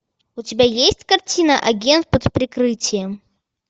у тебя есть картина агент под прикрытием